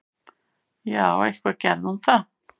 Já, eitthvað gerði hún það.